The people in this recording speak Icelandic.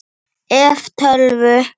ef. tölvu